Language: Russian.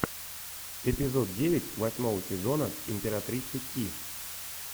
эпизод девять восьмого сезона императрица ки